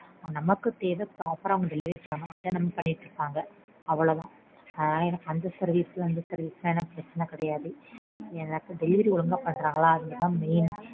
நமக்கு தேவை proper ஆ அவங்க delivery பண்ணனும் அத அவங்க பண்றாங்க அவளோதான். எனக்கு அந்த service இந்த service லாம் பிரச்சனையே கிடையாது. எனக்கு delivery ஒழுங்கா பண்றாங்களா அது தான் main.